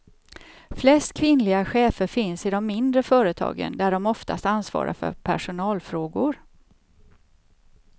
Flest kvinnliga chefer finns i de mindre företagen, där de oftast ansvarar för personalfrågor.